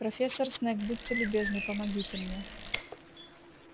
профессор снегг будьте любезны помогите мне